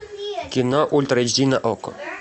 кино ультра эйч ди на окко